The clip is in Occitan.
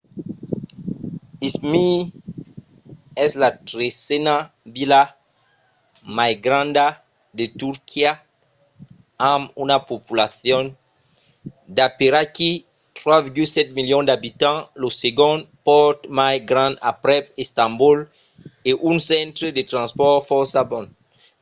izmir es la tresena vila mai granda de turquia amb una populacion d'aperaquí 3,7 milions d'abitants lo segond pòrt mai grand aprèp istanbol e un centre de transpòrts fòrça bon